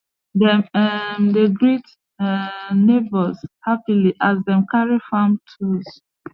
dem um dey greet um neighbours happily as dem carry farm tools